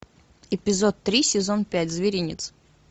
эпизод три сезон пять зверинец